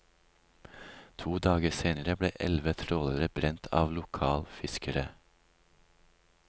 To dager seinere ble elleve trålere brent av lokal fiskere.